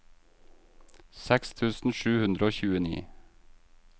seks tusen sju hundre og tjueni